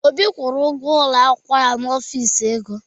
Obi kwụrụ ụgwọ ụlọ akwụkwọ ya n'Ọfịs ego.